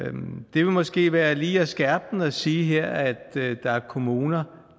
det vil måske være lige at skærpe den her at sige at der er kommuner